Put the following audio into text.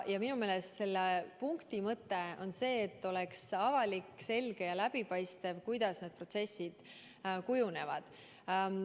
Minu meelest selle punkti mõte on see, et oleks avalik, selge ja läbipaistev, kuidas need protsessid kujunevad.